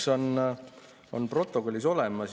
Aga õnneks on protokollid olemas.